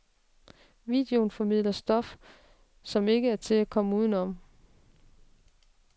Videoen formidler stof, som ikke er til at komme uden om.